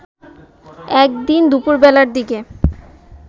একদিন দুপুরবেলার দিকে